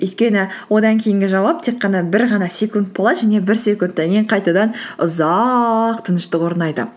өйткені одан кейінгі жауап тек қана бір ғана секунд болады және бір секундтан кейін қайтадан ұзақ тыныштық орнайды